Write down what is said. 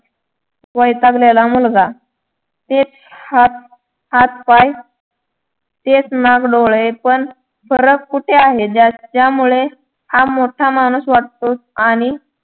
वैतागलेला मुलगा ते हात पाय तेच नाक डोळे पण फरक कुठे आहे ज्यामुळे हा मोठा माणूस वाटतो आणि